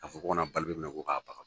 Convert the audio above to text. K'a fɔ ko ka na Balibe minɛ ko k'a baga